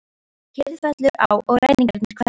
Kyrrð fellur á og ræningjarnir hverfa.